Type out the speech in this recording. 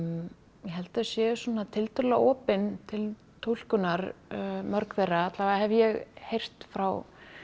ég held þau séu svona tiltölulega opin til túlkunar mörg þeirra alla vega hef ég heyrt frá